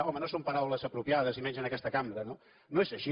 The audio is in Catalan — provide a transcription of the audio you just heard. home no són paraules apropiades i menys en aquesta cambra no no és així